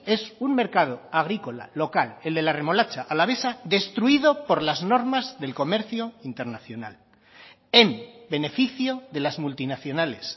es un mercado agrícola local el de la remolacha alavesa destruido por las normas del comercio internacional en beneficio de las multinacionales